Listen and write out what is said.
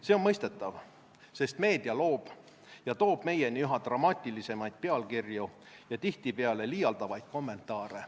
See on mõistetav, sest meedia loob ja toob meieni üha dramaatilisemaid pealkirju ja tihtipeale liialdavaid kommentaare.